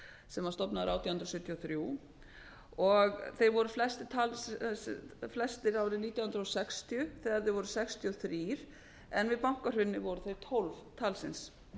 sem var stofnaður átján hundruð sjötíu og þrír þeir voru flestir árið nítján hundruð sextíu þegar þeir voru sextíu og þrjú en við bankahrunið voru þeir tólf talsins